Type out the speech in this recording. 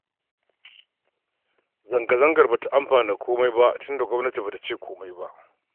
Zanga-zangar ba ta amfana komai ba tunda gwamnati ba ta ce komai ba